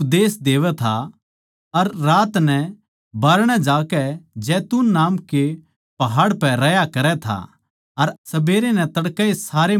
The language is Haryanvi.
वो दिन म्ह मन्दर म्ह उपदेश देवै था अर रात नै बाहरणै जाकै जैतून नामक पहाड़ पै रह्या करै था